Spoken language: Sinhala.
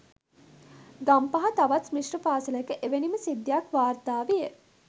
ගම්පහ තවත් මිශ්‍ර පාසලක එවැනිම සිද්ධියක් වාර්තා විය